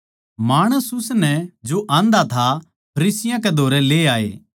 माणस उसनै जो आंधा था फरीसियाँ कै धोरै ले आए